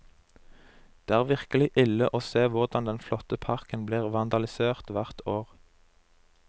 Det er virkelig ille å se hvordan den flotte parken blir vandalisert hvert år.